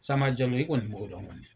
Sanba Jalo i kɔni b'o dɔn kɔni